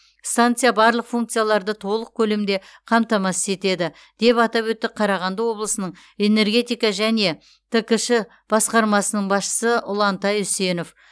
станция барлық функцияларды толық көлемде қамтамасыз етеді деп атап өтті қарағанды облысының энергетика және ткш басқармасының басшысы ұлантай үсенов